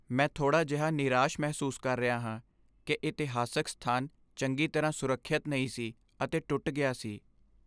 ਮੈਂ ਥੋੜ੍ਹਾ ਜਿਹਾ ਨਿਰਾਸ਼ ਮਹਿਸੂਸ ਕਰ ਰਿਹਾ ਹਾਂ ਕਿ ਇਤਿਹਾਸਕ ਸਥਾਨ ਚੰਗੀ ਤਰ੍ਹਾਂ ਸੁਰੱਖਿਅਤ ਨਹੀਂ ਸੀ ਅਤੇ ਟੁੱਟ ਗਿਆ ਸੀ।